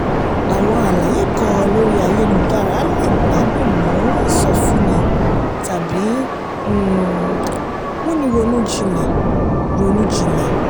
àwọn àlàyé kan lórí ayélujára le gbádùn mu ìsọfúnni tàbí um múni ronú jinlẹ̀. ronú jinlẹ̀.